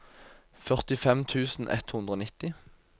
førtifem tusen ett hundre og nitti